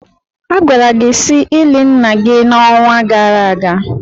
A gwara gị si ili nna gị n'onwa gara aga.